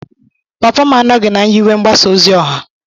Papa m anọghị na nyiwe mgbasa ozi ọha.